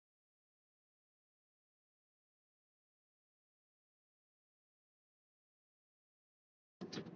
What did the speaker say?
Pappírsörkin lá á gólfinu við hlið hans útkrotuð með næstum ólæsilegri skrift.